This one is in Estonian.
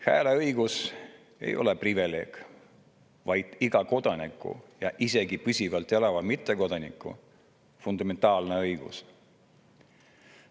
Hääleõigus ei ole privileeg, vaid iga kodaniku ja isegi püsivalt siin elava mittekodaniku fundamentaalne õigus.